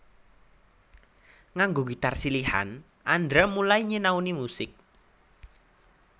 Nganggo gitar silihan Andra mulai nyinauni musik